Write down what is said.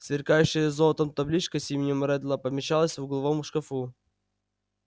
сверкающая золотом табличка с именем реддла помещалась в угловом шкафу